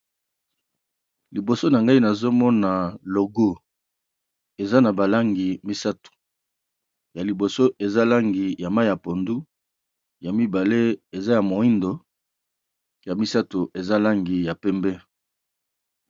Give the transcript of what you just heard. Liboso na ngai nazo mona logo eza na ba langi misato ya liboso eza langi ya mayi ya pondu, ya mibale eza ya moyindo, ya misato eza langi ya pembe.